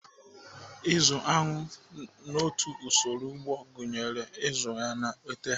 Ịzụ aṅụ so n'otu usoro ugbo gụnyere ịzụ aṅụ na ete ha.